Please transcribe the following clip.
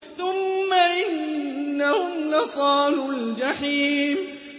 ثُمَّ إِنَّهُمْ لَصَالُو الْجَحِيمِ